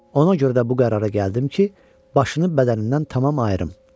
Ona görə də bu qərara gəldim ki, başını bədənindən tamam ayırım.